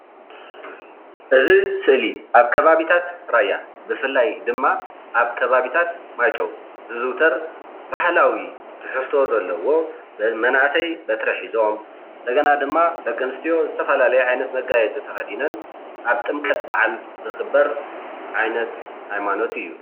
እዚ ስእሊ ኣብ ከባቢታት ራያ ብፍላይ ድማ ኣብ ከባቢታት ማይጨው ዝዝውተር ባህላዊ ትሕዝቶ ዘለዎ መናእሰይ ሒዞም ሒዞም፣ እንደገና ድማ ደቂ ኣንስትዮ ዝተፈላለዩ መጋየፂታት ተከዲነን ኣብ ጥምቀት በዓል ዝክበር ዓይነት ሃይማኖት እዩ፡፡